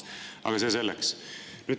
Aga see selleks.